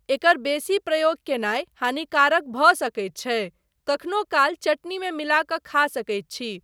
एकर बेसी प्रयोग कयनाय हानिकारक भऽ सकैत छै, कखनो काल चटनीमे मिला कऽ खा सकैत छी।